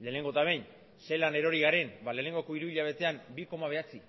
lehenengo eta behin zelan erori garen lehenengoko hiruhilabetean bi koma bederatzi